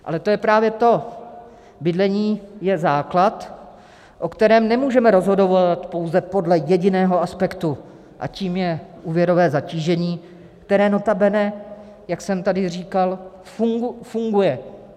Ale to je právě to - bydlení je základ, o kterém nemůžeme rozhodovat pouze podle jediného aspektu, a tím je úvěrové zatížení, které notabene, jak jsem tady říkal, funguje.